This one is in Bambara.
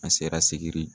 An sera segin